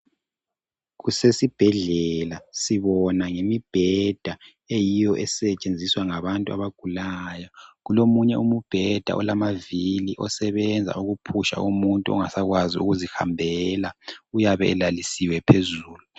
Kusesibhedlela sibona ngemibheda eyiyo esetshenziswa ngabantu abagulayo .Kulo munye umubheda olamavili osebenza ukuphusha umuntu ongasakwazi ukuzihambela .Uyabe lalisiwe phezulu .